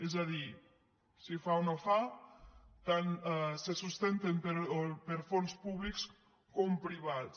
és a dir si fa o no fa tant se sustenten per fons públics com privats